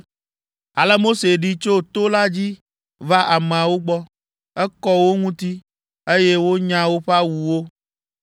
Ale Mose ɖi tso to la dzi va ameawo gbɔ. Ekɔ wo ŋuti, eye wonya woƒe awuwo.